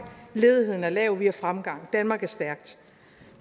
ledigheden er lav vi har fremgang og danmark er stærkt